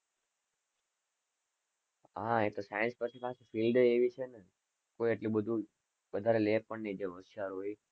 હા એ તો science પછી પછી field એવી છે ને કોઈ એટલું બધું વધરે લે પણ ની જે હોશિયાર હોય એ